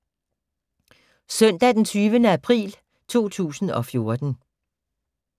Søndag d. 20. april 2014